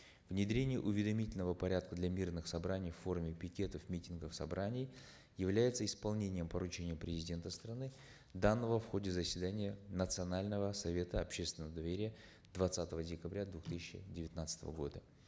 внедрение уведомительного порядка для мирных собраний в форме пикетов митингов собраний является исполнением поручения президента страны данного в ходе заседания национального совета общественного доверия двадцатого декабря две тысячи девятнадцатого года